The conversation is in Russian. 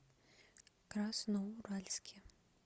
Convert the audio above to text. красноуральске